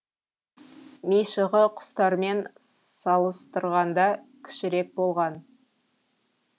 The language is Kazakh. мишығы құстармен салыстырғанда кішірек болған